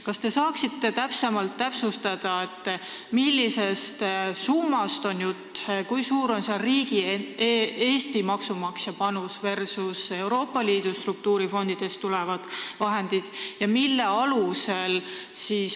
Kas te saate täpsustada, millisest summast on jutt, kui suur on riigi ehk Eesti maksumaksja panus versus Euroopa Liidu struktuurifondidest tulevad vahendid?